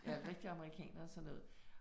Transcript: Ja, rigtig amerikaner og sådan noget